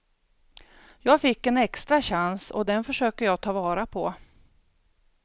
Jag fick en extra chans och den försöker jag ta vara på.